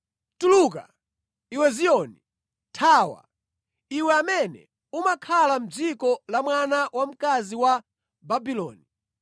“Tuluka, iwe Ziyoni! Thawa, iwe amene umakhala mʼdziko la mwana wamkazi wa Babuloni!”